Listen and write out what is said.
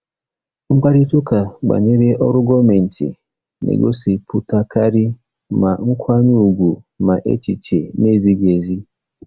Mkparịta ụka banyere ọrụ gọọmentị na-egosipụtakarị ma nkwanye ùgwù ma echiche na-ezighị ezi.